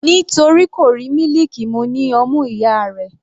Nítorí kò rí mílìkì mu ní ọmú ìyá rẹ̀.